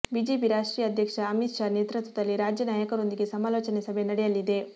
BJP ರಾಷ್ಟ್ರೀಯ ಅಧ್ಯಕ್ಷ ಅಮಿತ್ ಶಾ ನೇತೃತ್ವದಲ್ಲಿ ರಾಜ್ಯ ನಾಯಕರೊಂದಿಗೆ ಸಮಾಲೋಚನೆ ಸಭೆ ನಡೆಯಲಿದೆ